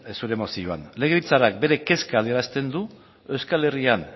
zure mozioan legebiltzarrak bere kezka adierazten du euskal herrian